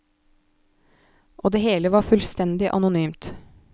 Og det hele var fullstendig anonymt.